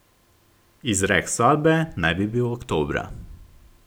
Izrek sodbe naj bi bil oktobra.